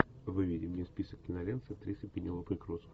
выведи мне список кинолент с актрисой пенелопой крус